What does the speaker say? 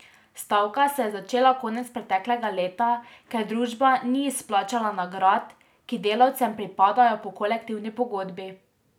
Stavka se je začela konec preteklega leta, ker družba ni izplačala nagrad, ki delavcem pripadajo po kolektivni pogodbi.